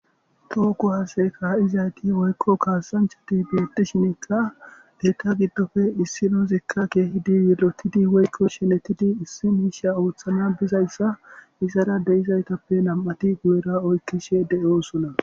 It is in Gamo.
tookku haaseka ha7izayti woykko kaasanchati biyotishinikka deyta giddofe issi noozikka keehidi yilotidi woykko shenetidi issi miisha ooththana bizayssa izara deizaytappe nam7ati gunera oykkishe de7oosona